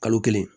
Kalo kelen